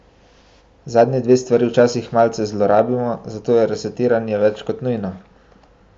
Zadnji dve stvari včasih malce zlorabimo, zato je resetiranje več kot nujno.